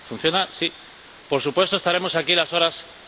Por supuesto, estaremos aquí las horas que haga falta.